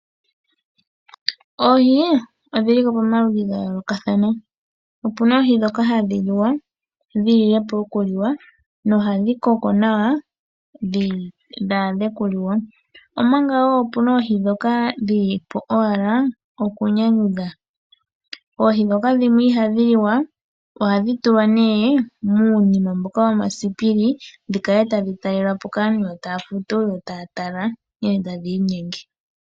Oohi odhili pomaludhi ga yoolokathana. O pu na oohi ndhoka hadhi liwa dhi lilepo oku liwa no ha dhi koko nawa dhi adhe okuliwa. Omanga woo ope na oohi ndhoka dhi lipo owala oku nyanyudha .oohi ndhoka dhimwe I ha dhi liwa ohadhi tulwa muunima mboka wo ma siipili dhi kale tadhi talelwapo kaantu ta ya futu yo ta ya tala nkene tadhi inyenge.